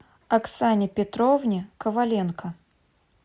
оксане петровне коваленко